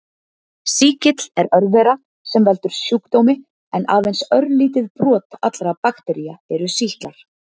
Sýkill er örvera sem veldur sjúkdómi en aðeins örlítið brot allra baktería eru sýklar.